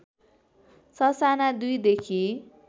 ससाना २ देखि